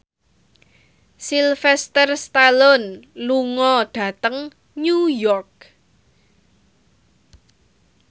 Sylvester Stallone lunga dhateng New York